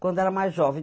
Quando era mais jovem.